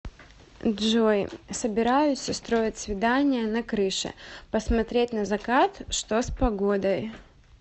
джой собираюсь устроить свидание на крыше посмотреть на закат что с погодой